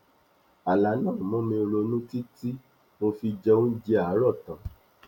àlá náà mú mi ronú títí tí mo fi jẹ oúnjẹ àárọ tán